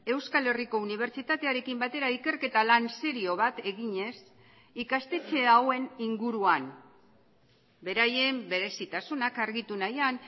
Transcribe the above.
euskal herriko unibertsitatearekin batera ikerketa lan serio bat eginez ikastetxe hauen inguruan beraien berezitasunak argitu nahian